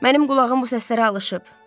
Mənim qulağım bu səslərə alışıb.